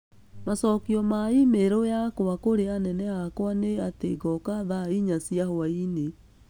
Macokio ma e-mail yakwa kũrĩ anene akwa nĩ atĩ ngoka thaa inya cia hwaĩ-inĩ